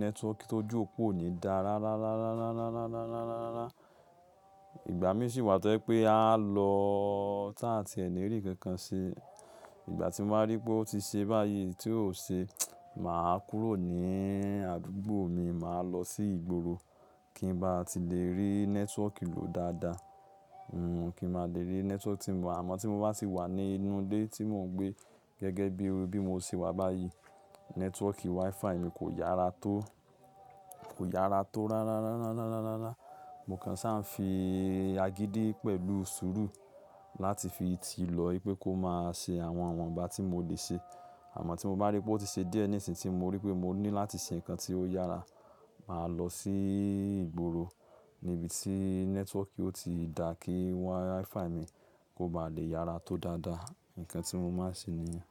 network tó jù òpó ò ní dá rárá, rárá, rárá, rárá, rárá, rárá, rárá. Ìgbà mi sì wà tó je pé a lọ tá tí ẹ̀ ní rí kankan ṣe. Ìgbà tí mo bá rí pé ó ti ṣe báyìí tí ò ṣe, màá kúrò ní àdúgbò mi, màá lọ sí ìgboro kí ń bá ti lè rí network lò dáadáa. Hmm kí mo lè rí network tí mo, àmọ́ tí mo bá sì wà ní inú ilé tí mò ń gbé gẹ́gẹ́ bí mo ti wà báyìí, network Wi-Fi mi kò yára tó, kò yára tó rárá, rárá, rárá, rárá, rárá. Mo kàn ṣa ń fi agídí pẹ̀lú sùúrù láti fi ti lò ó pé kó máa ṣe àwọn iwọ̀n bá tí mo lè ṣe. Àmọ́ tí mo bá rí pé ó ti ṣe díẹ̀ ní ìsìn tí mo rí pé mo ní láti ṣe nǹkan tí ó yára, màá lọ sí ìgboro níbi tí network ó ti dà kí Wi-Fi mi kó ba lè yára tó dáadáa. Ǹkan tí mo máa ń ṣe nìyẹn.